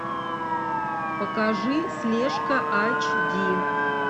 покажи слежка айч ди